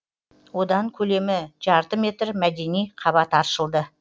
одан көлемі жарты метр мәдени қабат аршылды